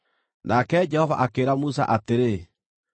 Nake Jehova akĩĩra Musa atĩrĩ,